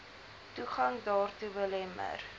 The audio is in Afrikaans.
toegang daartoe belemmer